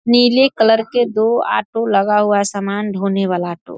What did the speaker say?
नीले कलर के दो ऑटो लगा हुआ है सामान ढोने वाला ऑटो ।